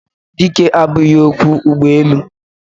Dike abughi okwo ugboelu.